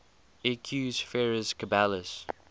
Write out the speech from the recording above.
equus ferus caballus